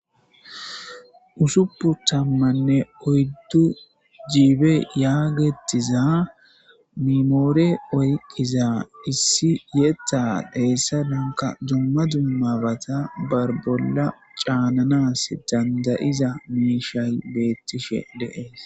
Usuppu tammanne oyddu jiibe yaagettiza mimoore oyqqiza issi yetta dheessa dunka dumma dummabata bar bolla caananas dandayiza miishay beettishe deees